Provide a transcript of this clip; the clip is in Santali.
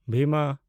ᱵᱷᱤᱢᱟ